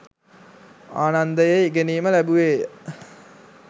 ආනන්දයේ ඉගෙනීම ලැබුවේය.